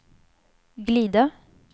glida